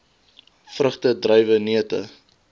vrugte druiwe neute